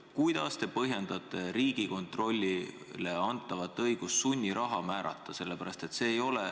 Kuidas te põhjendate Riigikontrollile antavat õigust sunniraha määrata?